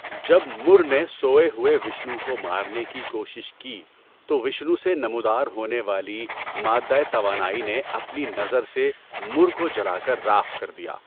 جب مُر نے سوئے ہوئے وشنو کو مارنے کی کوشش کی تو وشنو سے نمودار ہونے والی مادہ توانائی نے اپنی نظر سے مُر کو جلا کر راکھ کر دیا۔